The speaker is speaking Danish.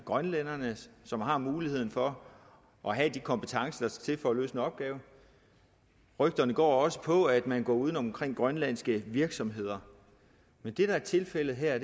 grønlænderne som har muligheden for at have de kompetencer til for at løse en opgave rygterne går også på at man går uden om grønlandske virksomheder men det der er tilfældet her